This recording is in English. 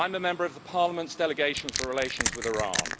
I'm a member of the Parliament's Delegation for relations with Iran.